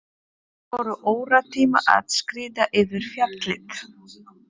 Þeir voru óratíma að skríða yfir fjallið.